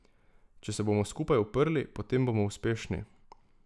Če se bomo skupaj uprli, potem bomo uspešni.